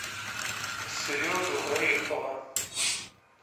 сережу орехова